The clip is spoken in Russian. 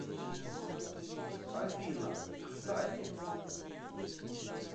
афина кстати